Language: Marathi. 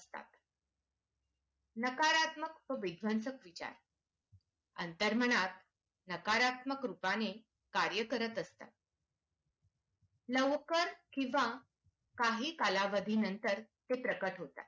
नकारात्मक व विध्वंसनाक विचार अंतर्मनात नकारात्मक रूपाने कार्य करत असतात लोवकर किंवा काही कालावधी नंतर ते प्रकट होतात